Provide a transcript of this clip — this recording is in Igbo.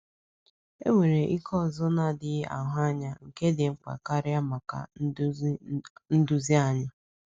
Enwere ike ọzọ na-adịghị ahụ anya nke dị mkpa karịa maka nduzi anyị.